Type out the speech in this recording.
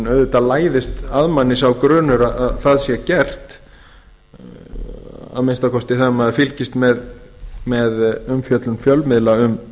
auðvitað læðist að manni sá grunur að það sé gert að minnsta kosti þegar maður fylgist með umfjöllun fjölmiðla um